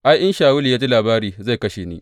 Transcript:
Ai, in Shawulu ya ji labari, zai kashe ni.